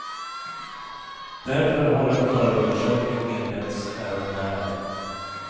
Därför har en förundersökning inletts även här.